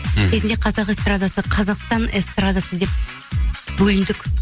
мхм кезінде қазақ эстрадасы қазақстан эстрадасы деп бөліндік